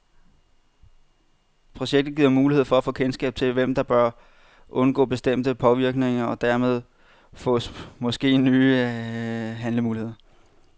Projektet giver mulighed for at få kendskab til, hvem der bør undgå bestemte påvirkninger, og dermed fås måske nye handlemuligheder.